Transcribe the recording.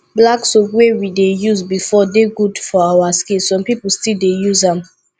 black soap wey we dey use before dey good for our skin some pipo still dey use am